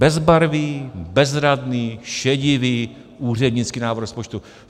Bezbarvý, bezradný, šedivý úřednický návrh rozpočtu.